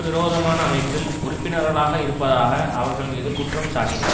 விரோதமான அமைப்பில் உறுப்பினர்களாக இருப்பதாக அவர்கள் மீது குற்றம்சாட்டினர்